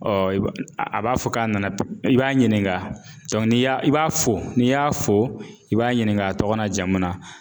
a b'a fɔ k'a nana i b'a ɲininka ni y'a i b'a fo n'i y'a fo i b'a ɲininka a tɔgɔ n'a jamu na